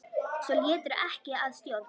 Svo létirðu ekki að stjórn.